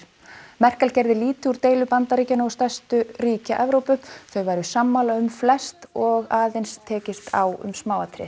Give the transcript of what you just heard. Merkel gerði lítið úr deilu Bandaríkjanna og stærstu ríkja Evrópu þau væru sammála um flest og aðeins tekist á um smáatriði